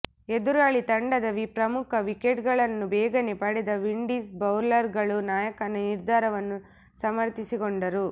ಎದುರಾಳಿ ತಂಡದ ಪ್ರಮುಖ ವಿಕೆಟ್ಗಳನ್ನು ಬೇಗನೆ ಪಡೆದ ವಿಂಡೀಸ್ ಬೌಲರ್ಗಳು ನಾಯಕನ ನಿರ್ಧಾರವನ್ನು ಸಮರ್ಥಿಸಿಕೊಂಡರು